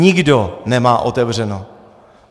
Nikdo nemá otevřeno!